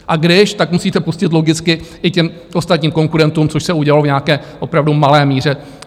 A když, tak musíte pustit logicky i těm ostatním konkurentům, což se udělalo v nějaké opravdu malé míře.